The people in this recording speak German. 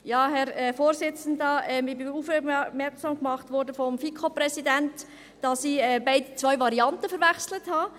Ich wurde vom FiKo-Präsidenten darauf aufmerksam gemacht, dass ich zwei Varianten verwechselt habe.